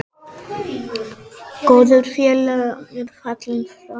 Góður félagi er fallinn frá.